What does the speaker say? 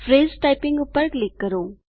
phrase typing પર click કરો